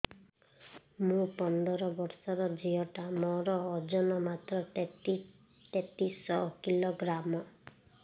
ମୁ ପନ୍ଦର ବର୍ଷ ର ଝିଅ ଟା ମୋର ଓଜନ ମାତ୍ର ତେତିଶ କିଲୋଗ୍ରାମ